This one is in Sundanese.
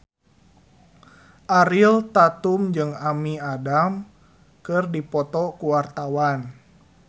Ariel Tatum jeung Amy Adams keur dipoto ku wartawan